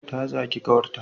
Ta zagi kawar ta